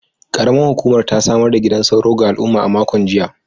Karamar Hukumar ta samar da gidan sauro ga al’umma a makon jiya.